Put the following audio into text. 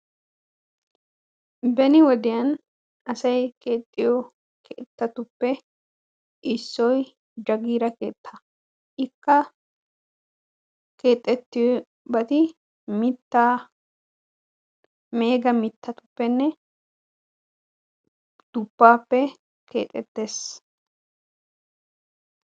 Beni wodiyaan asay keexxiyoo keettatuppe issoy jaagira keettaa. ikka kexettiyoobati mittaa, meega mittatupenne duppaappe keexettees.